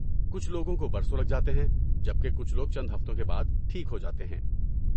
کچھ لوگوں کو برسوں لگ جاتے ہیں، جب کہ کچھ لوگ چند ہفتوں کے بعد ٹھیک ہو جاتے ہیں۔